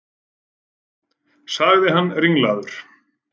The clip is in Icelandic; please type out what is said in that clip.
sagði hann ringlaður.